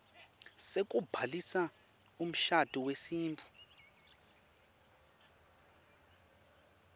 sekubhalisa umshado wesintfu